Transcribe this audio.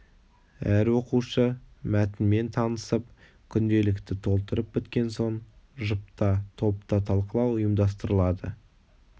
әр оқушы мәтінмен танысып күнделікті толтырып біткен соң жұпта топта талқылау ұйымдастырылады